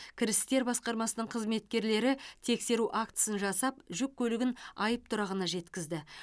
кірістер басқармасының қызметкерлері тексеру актісін жасап жүк көлігін айыптұрағына жеткізді